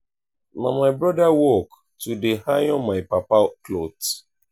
na my broda work to dey iron my papa cloth.